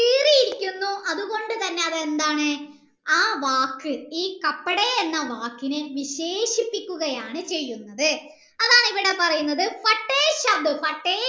കീറിയിരിക്കുന്നു അത്കൊണ്ട് തന്നെ എന്താണ് ആ വാക് ഈ എന്ന വാക്കിനെ വിശേഷിപ്പിക്കുകയാണ് ചെയ്യുന്നത് അതാണ് ഇവീടെ പറയുന്നത്